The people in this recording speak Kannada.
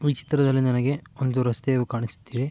ಈ ಚಿತ್ರದಲ್ಲಿ ನನಗೆ ಒಂದು ರಸ್ತೆಯು ಕಾಣಿಸುತ್ತಿದೆ.